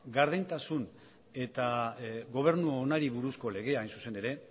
gardentasun eta gobernu onari buruzko legea hain zuzen ere